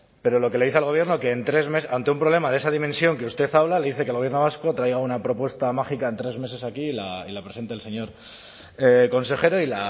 pero lo que le dice al gobierno que ante un problema de esa dimensión que usted habla le dice que el gobierno vasco traiga una propuesta mágica en tres meses aquí y la presente el señor consejero y